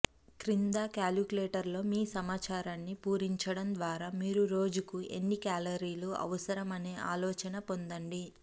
క్రింద కాలిక్యులేటర్లో మీ సమాచారాన్ని పూరించడం ద్వారా మీరు రోజుకు ఎన్ని కేలరీలు అవసరం అనే ఆలోచనను పొందండి